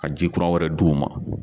Ka ji kura wɛrɛ di' u ma